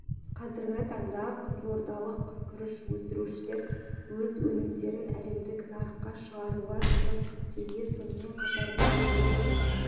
қазіргі таңда қызылордалық күріш өсірушілер өз өнімдерін әлемдік нарыққа шығаруға жұмыс істеуде сонымен қатар биыл облыста